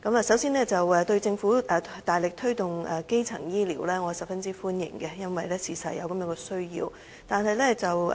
首先，對於政府大力推動基層醫療，我是十分歡迎的，因為確實有這需要。